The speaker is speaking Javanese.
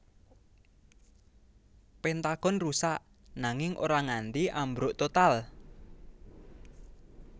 Pentagon rusak nanging ora nganti ambruk total